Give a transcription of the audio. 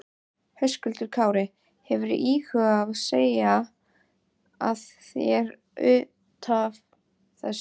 Höskuldur Kári: Hefurðu íhugað að segja af þér útaf þessu?